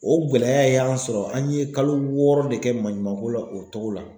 O gɛlɛya y'an sɔrɔ an ye kalo wɔɔrɔ de kɛ maɲumanko la o togo la.